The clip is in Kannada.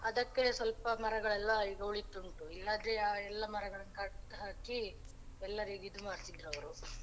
ಅದಕ್ಕೆ ಸ್ವಲ್ಪ ಮರಗಳೆಲ್ಲ ಈಗ ಉಳಿತುಂಟು ಇಲ್ಲಾದ್ರೆ ಆ ಮರಗಳೆಲ್ಲ ಕಡ್ದ್ ಹಾಕಿ ಎಲ್ಲರಿಗೂ ಇದ್ ಮಾಡ್ತಿದ್ರು ಅವ್ರು .